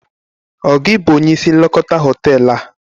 Ọ gị bụ onye isi nlekọta hoteelu a?